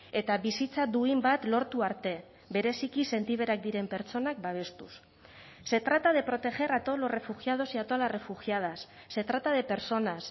eta bizitza duin bat lortu arte bereziki sentiberak diren pertsonak babestuz se trata de proteger a todos los refugiados y a todas las refugiadas se trata de personas